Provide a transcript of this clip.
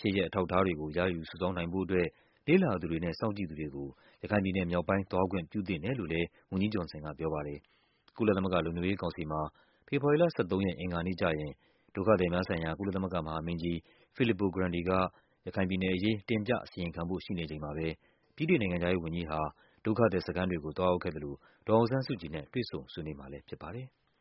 ဖြစ်ရပ်အထောက်အထားတွေကို စုဆောင်းရယူူူနိုင်ဖို့အတွက် လေ့လာသူတွေနဲ့ စောင့်ကြည့်သူတွေကို ရခိုင်ပြည်နယ်မြောက်ပိုင်း သွားခွင့်ပြုသင့်တယ်လို့လည်း ဆိုပါတယ်။ ကုလသမဂ္ဂလုံခြုံရေးကောင်စီမှာ ဖေဖော်ဝါရီလ ၁၃ ရက် အင်္ဂါနေ့ကျရင် ဒုက္ခသည်များဆိုင်ရာ ကုလသမဂ္ဂမဟာမင်းကြီး Filippo Grandi က ရခိုင်ပြည်နယ်အရေး တင်ပြ အစီရင်ခံဖို့ရှိနေချိန်မှာပဲ ဗြိတိန်နိုင်ငံခြားရေးဝန်ကြီးဟာ ဒုက္ခသည်စခန်းတွေကို သွား ရောက်ခဲ့သလို ဒေါ်အောင်ဆန်းစုကြည်နဲ့ တွေ့ဆုံဆွေးနွေးမှာလည်းဖြစ်ပါတယ်။